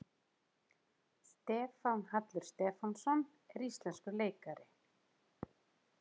Stefán Hallur Stefánsson er íslenskur leikari.